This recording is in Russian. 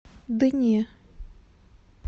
да не